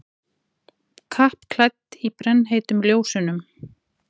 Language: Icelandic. Kappklædd í brennheitum ljósunum.